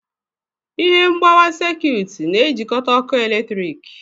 Ihe mgbawa sekut na-ejikọta oke eletrik.